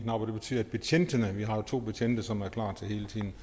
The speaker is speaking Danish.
og det betyder at betjentene vi har jo to betjente som hele tiden